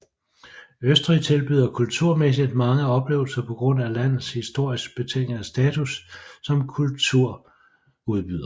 Østrig tilbyder kulturmæssigt mange oplevelser på grund af landets historisk betingede status som kulturudbyder